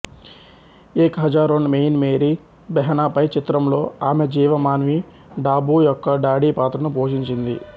ఏక్ హజారోన్ మెయిన్ మేరీ బెహ్నా హై చిత్రంలో ఆమె జీవ మాన్వి డాబూ యొక్క డాడీ పాత్రను పోషించింది